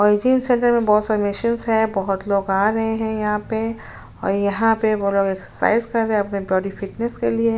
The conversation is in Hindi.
और ये जिम सेंटर में बहुत सारे मशीन्स है बहुत लोग आ रहे है यहाँ पे और यहाँ पे वो लोग एक्सरसाइज कर रहे है अपने बॉडी फ़िटनेस के लिए।